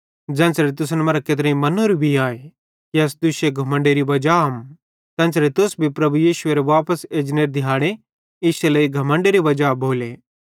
ज़ेन्च़रे तुसन मरां केत्रेईं मन्नोरू भी आए कि अस तुश्शे धुमण्डेरी वजाम तेन्च़रे तुस भी प्रभु यीशुएरे वापस एजनेरे दिहाड़े इश्शे लेइ घमण्डेरी वजा भोले